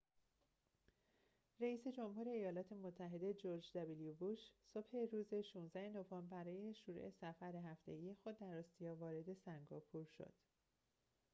رئیس جمهور ایالات متحده جرج دابلیو بوش صبح روز ۱۶ نوامبر برای شروع سفر هفتگی خود در آسیا وارد سنگاپور شد